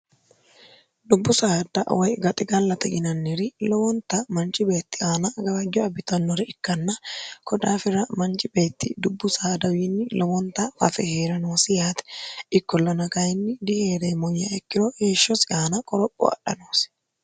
dubbu saada woy gaxi gallate yinanniri lowonta manchi beetti aana gawajjo abbitannore ikkanna kodaafira manchi beetti dubbu saadawiinni lowonta fafe heera noosi yaate ikkollona kayinni diheeremmo yiiha ikkiro heeshshosi aana qoropho adha noosi